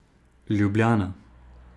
Ljubljana.